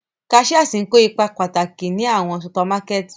Cashiers ń ko ipa pataki ni awọn supamakẹti.